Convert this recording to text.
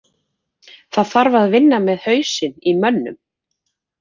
Það þarf að vinna með hausinn á mönnum.